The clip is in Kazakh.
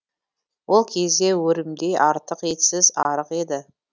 ол кезде өрімдей артық етсіз арық еді